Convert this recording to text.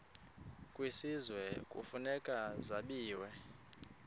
kwisizwe kufuneka zabiwe